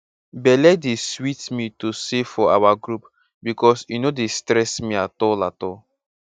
belle dey sweet me to save for our group becos e no dey stress me at all at all